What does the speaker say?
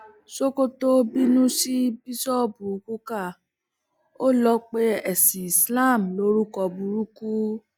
sokoto bínú sí bíṣọọbù kukah ó lọ pe ẹsìn islam lórúkọ burúkú